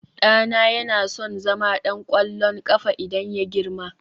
ɗana yana son zama ɗan ƙwallon ƙafa idan ya girma